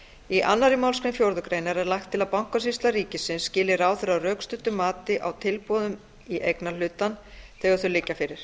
í annarri málsgrein fjórðu grein er lagt til að bankasýsla ríkisins skili ráðherra rökstuddu mati á tilboðum í eignarhlutann þegar þau liggja fyrir